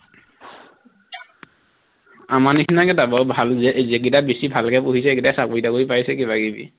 আমাৰ নিচিনাকে দে বৰ ভাল যে যেইকিটাই বেছি ভালকে পঢ়িছে সেইকেইটাই চাকৰি টাকৰি পাইছে কিবা কিবি